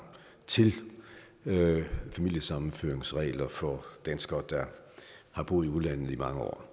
til familiesammenføringsregler for danskere der har boet i udlandet i mange år